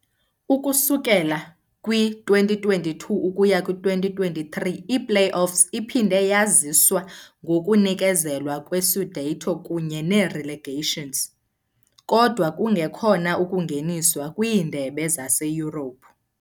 Ukususela kwi-2022-23 i-play-offs iphinde yaziswa ngokunikezelwa kwe-scudetto kunye ne-relegations, kodwa kungekhona ukungeniswa kwiindebe zaseYurophu.